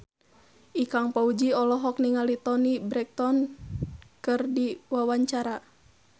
Ikang Fawzi olohok ningali Toni Brexton keur diwawancara